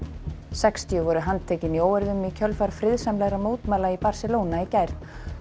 sextíu voru handtekin í óeirðum í kjölfar friðsamlegra mótmæla í Barcelona í gær